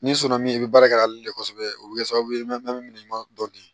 Ni sɔnna min i bɛ baara kɛ ale de kɔsɔbɛ o bɛ kɛ sababu ye min bɛ minɛ ɲuman dɔ di